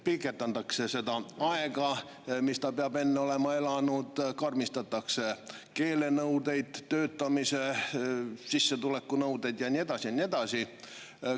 Pikendatakse seda aega, mis peab enne olema elanud, karmistatakse keelenõudeid, töötamise, sissetulekunõudeid ja nii edasi, ja nii edasi.